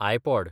iPod